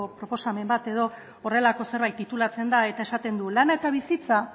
proposamen bat edo horrelako zerbait titulatzen da eta esaten du lana eta bizitza